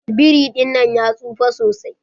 Biri dinnan ya tsufa sosai.